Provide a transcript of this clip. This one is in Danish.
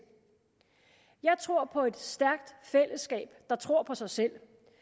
jeg tror på et stærkt fællesskab af der tror på sig selv